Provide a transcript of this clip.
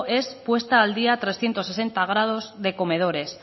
es puesta al día tricentesimo sexagesimo de comedores